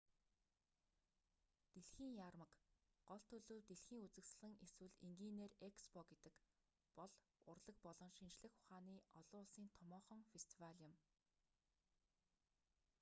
дэлхийн яармаг гол төлөв дэлхийн үзэсгэлэн эсвэл энгийнээр экспо гэдэг бол урлаг болон шинжлэх ухааны олон улсын томоохон фестивал юм